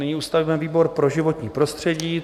Nyní ustavíme výbor pro životní prostředí.